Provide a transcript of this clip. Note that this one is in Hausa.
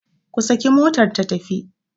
ku saki motar ta tafi!